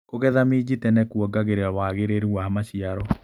Kũgetha minji tene kuongagĩrĩra wagĩrĩru wa maciaro.